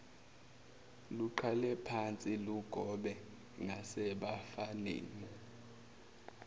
luqalephansi lugobe ngasebafaneni